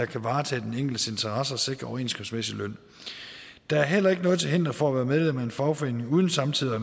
kan varetage den enkeltes interesser og sikre overenskomstmæssig løn der er heller ikke noget til hinder for at være medlem af en fagforening uden samtidig at